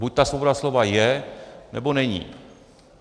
Buď ta svoboda slova je, nebo není.